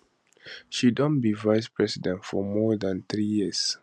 she don be vicepresident for more dan three years